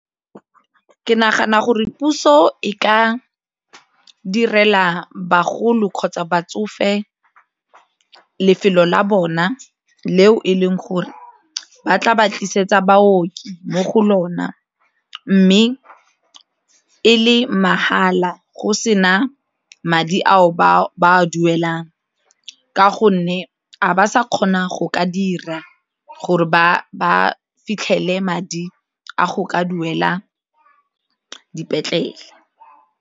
Ke nagana gore puso e ka direla bagolo kgotsa batsofe lefelo la bona leo e leng gore ba tla ba tlisetsa baoki mo go lona mme e le mahala go se na madi ao ba a duelang ka gonne a ba sa kgona go ka dira gore ba ba fitlhele madi a go ka duela dipetlele.